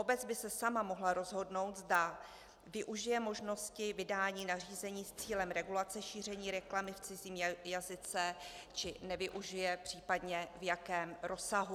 Obec by se sama mohla rozhodnout, zda využije možnosti vydání nařízení s cílem regulace šíření reklamy v cizím jazyce, či nevyužije, případně v jakém rozsahu.